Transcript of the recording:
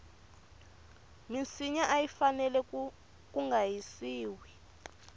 minsinya ayi fanele kunga hisiwi